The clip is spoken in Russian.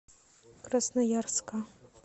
красноярска